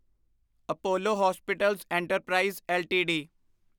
Apollo hospitals enterprise LTD